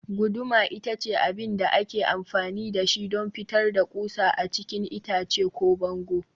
guduma ita ce abin da ake amfani da shi don fitar da ƙusa a cikin itace ko bango